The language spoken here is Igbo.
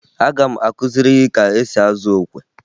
Aga m akụziri gị ka esi azụ okwe